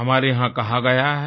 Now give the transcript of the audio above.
हमारे यहाँ कहा गया है